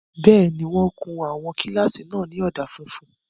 Bẹ́ẹ̀ni, wọ́n kun àwọn kílásì náà ní ọ̀dà funfun